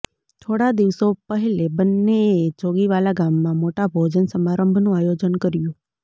થોડા દિવસો પહલે બન્ને એ જોગીવાલા ગામમાં મોટા ભોજન સમારંભનું આયોજન કર્યું